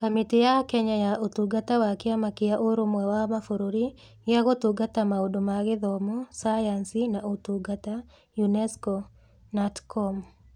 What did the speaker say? Kamĩtĩ ya Kenya ya Ũtungata wa Kĩama kĩa Ũrũmwe wa Mabũrũri gĩa Gũtungata Maũndũ ma Gĩthomo, Sayansi, na Ũtungata UNESCO (KNATCOM).